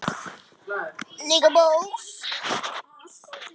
Þegar ég átti frí lifði ég hátt.